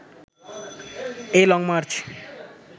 এই লংমার্চ